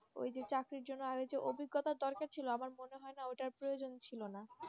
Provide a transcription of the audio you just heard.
ওই যে চাকরির জন্য আরও একটি অভিজ্ঞতা দরকার ছিল আমার মনে হয় না তার প্রয়োজন ছিল না